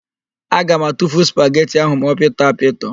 Aga m atufu spageti ahụ ma ọ pịtọ apịtọ.